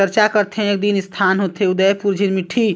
चर्चा करथे एकदिन स्थान होथे उदयपुर झिरमिट्टी--